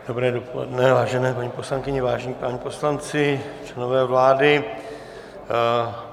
Dobré dopoledne, vážené paní poslankyně, vážení páni poslanci, členové vlády.